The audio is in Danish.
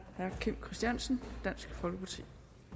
herre kim christiansen dansk folkeparti